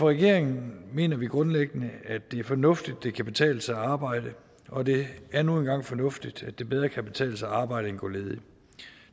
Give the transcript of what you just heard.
regeringen mener vi grundlæggende det er fornuftigt at det kan betale sig at arbejde og det er nu engang fornuftigt at det bedre kan betale sig at arbejde end at gå ledig